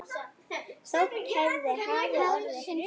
Þótt hér hafi orðið hrun.